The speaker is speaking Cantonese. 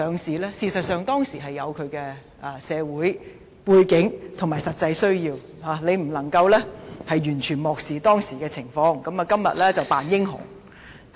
事實上，這決定當時有其社會背景和實際需要，他不能完全漠視當時的情況，而在今天扮英雄。